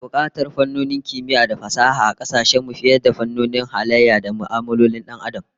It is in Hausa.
Ana bukatar fannonin kimiyya da fasaha a kasashen mu fiye da fannonin halayya da mu'amalolin Dan Adam